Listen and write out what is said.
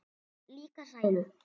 En líka sælu.